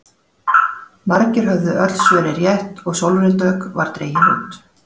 Margir höfðu öll svörin rétt og Sólrún Dögg var dregin út.